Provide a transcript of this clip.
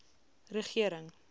regering